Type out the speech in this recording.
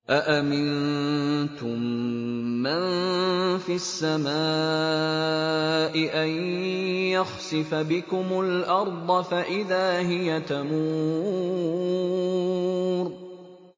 أَأَمِنتُم مَّن فِي السَّمَاءِ أَن يَخْسِفَ بِكُمُ الْأَرْضَ فَإِذَا هِيَ تَمُورُ